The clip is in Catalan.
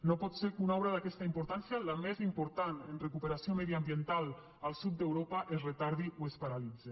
no pot ser que una obra d’aquesta importància la més important en recuperació mediambiental al sud d’europa es retardi o es paralitze